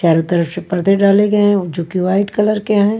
चारों तरफ से पर्दे डाले गए हैं जो कि व्हाईट कलर के हैं।